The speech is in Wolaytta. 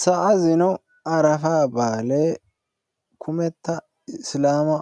Sa'a zino arafaa baalee kummeta isilaama